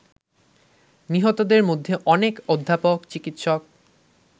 নিহতদের মধ্যে অনেক অধ্যাপক, চিকিৎসক